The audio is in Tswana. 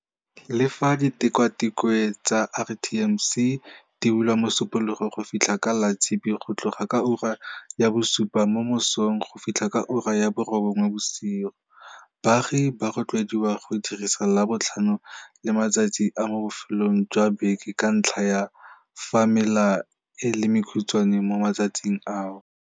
Le fa ditikwatikwe tsa RTMC di bulwa Mosupologo go fitlha ka Latshipi go tloga ka ura ya bosupa mo mosong go fitlha ka ura ya borobongwe bosigo, baagi ba rotloediwa go dirisa Labotlhano le matsatsi a mo bofelong jwa beke ka ntlha ya fa mela e le mekhutshwane mo matsatsing ao.